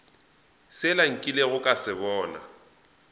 sela nkilego ka se bona